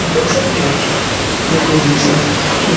में देख सकते हैं कि ये कोई डीश हैजो --